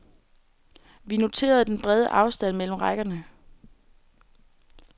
Vi noterede den brede afstand mellem rækkerne.